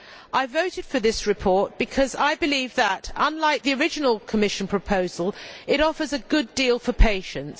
I voted for this report because I believe that, unlike the original Commission proposal, it offers a good deal for patients.